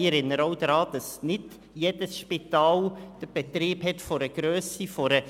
Ich erinnere auch daran, dass nicht jedes Spital die Grösse des Inselspitals hat.